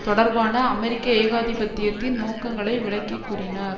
தொடர்பான அமெரிக்க ஏகாதிபத்தியத்தின் நோக்கங்களை விளக்கிக்கூறினார்